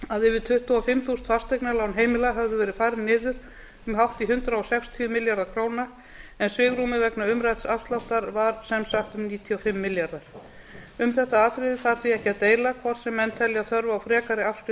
að yfir tuttugu og fimm þúsund fasteignalán heimila höfðu verið færð niður um hátt í hundrað sextíu milljarða króna en svigrúmið vegna umrædds afsláttar var sem sagt um níutíu og fimm milljarðar um þetta atriði þarf því ekki að deila hvort sem menn telja þörf á frekari afskriftum